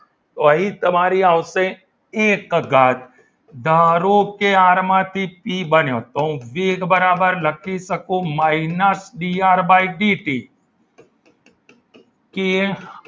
તો અહીં તમારી આવશે એક ઘાત ધારો કે આર માંથી પી બન્યો તો હું વેગ બરાબર લખીશ લખી શકું minus બીઆર બાય બીટી કે